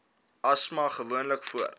asma gewoonlik voor